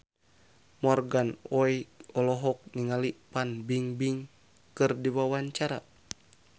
Morgan Oey olohok ningali Fan Bingbing keur diwawancara